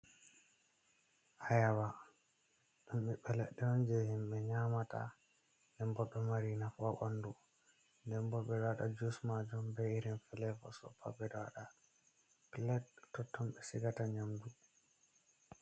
Ayaba ɗum bibbe leɗɗe je himɓe nyamata, nden ɓo ɗo mari nafa ha ɓandu, nden ɓo ɓe ɗo waɗa jus majum be irin felevosopa ɗo pat ɓe ɗo waɗa, plat totton be sigata nyamdu.